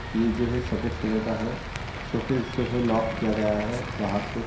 ये जो है सफ़ेद कलर का है शोकेस जो है लॉक किया गया है बाहर से |